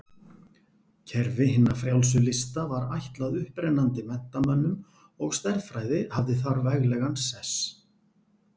Kerfi hinna frjálsu lista var ætlað upprennandi menntamönnum og stærðfræði hafði þar veglegan sess.